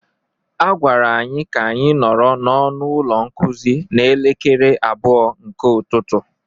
A gwara anyị ka anyị nọrọ n'ọnụ ụlọ nkuzi n'elekere abụọ nke ụtụtụ.